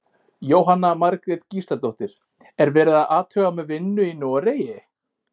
Jóhanna Margrét Gísladóttir: Er verið að athuga með vinnu í Noregi?